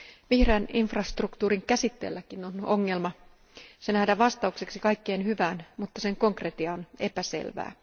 Vihreän infrastruktuurin käsitteelläkin on ongelma se nähdään vastaukseksi kaikkeen hyvään, mutta sen konkretia on epäselvää.